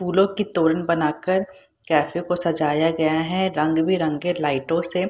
पुलो की तोली बना कर कैफ़े को सजाया गया है रंग-बिरंगे लइटो से --